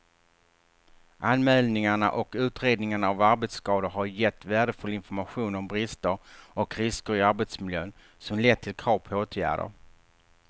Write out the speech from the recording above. Anmälningarna och utredningarna av arbetsskador har gett värdefull information om brister och risker i arbetsmiljön som lett till krav på åtgärder.